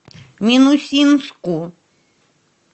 минусинску